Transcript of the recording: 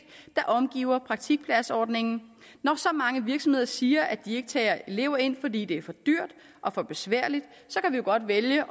der omgiver praktikpladsordningen når så mange virksomheder siger at de ikke tager elever ind fordi det er for dyrt og for besværligt så kan vi jo godt vælge